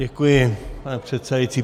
Děkuji, pane předsedající.